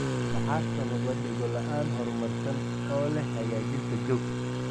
Maxaa sababa dhego-la'aan, horumarsan oo leh hagaajinta joog?